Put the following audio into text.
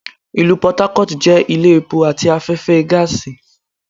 Ìlú Port Harcourt jẹ́ ilé epo àti afẹ́fẹ́ gáàsì